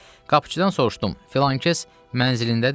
Qapıçıdan soruşdum filankəs mənzilindədirmi?